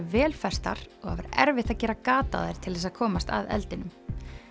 vel festar og erfitt að gera gat á þær til þess að komast að eldinum